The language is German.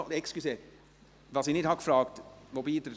Entschuldigen Sie – was ich nicht gefragt habe ...